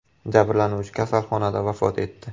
Jabrlanuvchi kasalxonada vafot etdi.